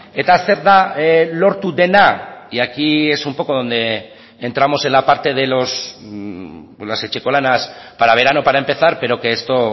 eta zer da lortu dena y aquí es un poco donde entramos en la parte de los etxekolanas para verano para empezar pero que esto